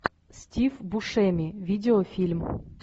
стив бушеми видеофильм